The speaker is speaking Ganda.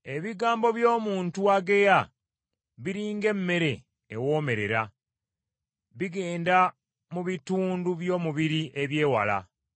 Ebigambo by’omuntu ageya biri ng’emmere ewoomerera, bigenda mu bitundu by’omubiri eby’ewala.